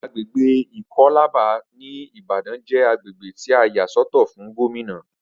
Agbègbè ikọ́làbà ní ìbàdàn jé agbègbè tí a yà sọ́tọ̀ fún Gómìnà